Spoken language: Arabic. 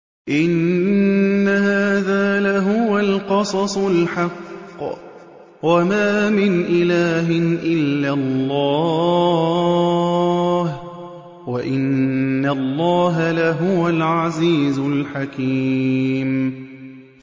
إِنَّ هَٰذَا لَهُوَ الْقَصَصُ الْحَقُّ ۚ وَمَا مِنْ إِلَٰهٍ إِلَّا اللَّهُ ۚ وَإِنَّ اللَّهَ لَهُوَ الْعَزِيزُ الْحَكِيمُ